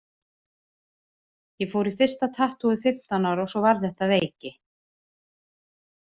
Ég fór í fyrsta tattúið fimmtán ára og svo varð þetta að veiki.